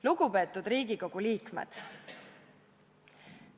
Lugupeetud Riigikogu liikmed!